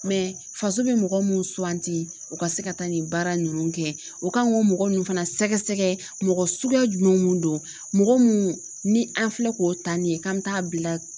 faso bɛ mɔgɔ minnu suganti u ka se ka taa nin baara ninnu kɛ o kan k'o mɔgɔ ninnu fana sɛgɛsɛgɛ mɔgɔ suguya jumɛn mun don mɔgɔ munnu ni an filɛ k'o ta nin ye k'an mi taa bila